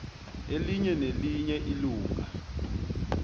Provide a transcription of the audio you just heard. elinye nelinye ilunga